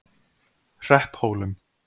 Hrepphólum